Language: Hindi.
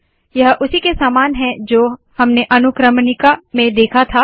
यह उसी के समान है जो हमने अनुक्रमणिका में देखा था